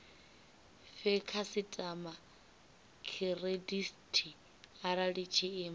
fhe khasitama khiredithi arali tshiimo